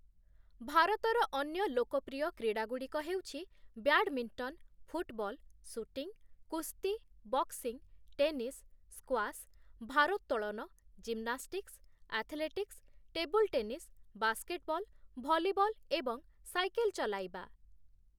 ଭାରତର ଅନ୍ୟ ଲୋକପ୍ରିୟ କ୍ରୀଡ଼ାଗୁଡ଼ିକ ହେଉଛି ବ୍ୟାଡମିଣ୍ଟନ, ଫୁଟବଲ, ସୁଟିଂ, କୁସ୍ତି, ବକ୍ସିଂ, ଟେନିସ୍, ସ୍କ୍ୱାସ୍, ଭାରୋତ୍ତୋଳନ, gymnastics, athletics, table tennis, basketball, volleyball ଏବଂ ସାଇକେଲ୍ ଚଲାଇବା ।